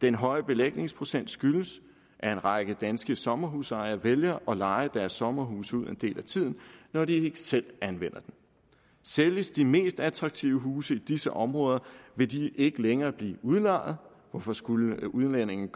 den høje belægningsprocent skyldes at en række danske sommerhusejere vælger at leje deres sommerhus ud en del af tiden når de ikke selv anvender det sælges de mest attraktive huse i disse områder vil de ikke længere blive udlejet hvorfor skulle udlændinge